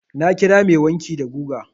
Na kira mai wanki da guga.